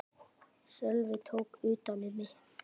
Sölvi tók utan um mig.